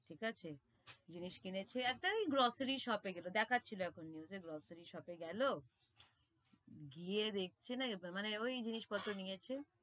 ঠিক আছে, জিনিস কিনেছে, একটা এই grocery shop এ গেলো দেখাছিল এখন news এ grocery shop এ গেলো, গিয়ে দেখছে না, মানে ওই জিনিস পত্র নিয়েছে,